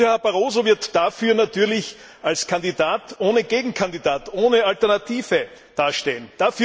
Herr Barroso wird dafür natürlich als Kandidat ohne Gegenkandidat, ohne Alternative dastehen.